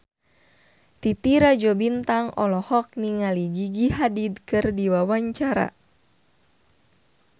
Titi Rajo Bintang olohok ningali Gigi Hadid keur diwawancara